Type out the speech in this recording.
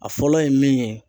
A fɔlɔ ye min ye